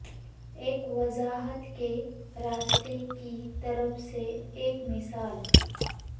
ایک وضاحت کے راستے کی طرف سے ایک مثال